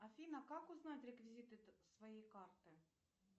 афина как узнать реквизиты своей карты